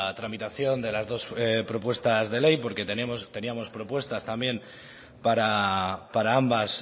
tramitación de las dos propuestas de ley porque teníamos propuestas también para ambas